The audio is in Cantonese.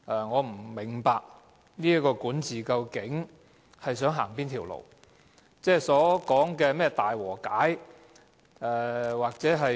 我不明白這個管治當局究竟想走哪條路，他們所講的是怎樣的大和解。